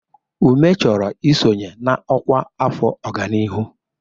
Ume chọrọ isonye na ọkwa afọ ọganihu.